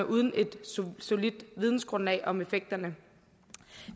uden et solidt vidensgrundlag om effekterne